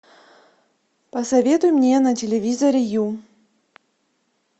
посоветуй мне на телевизоре ю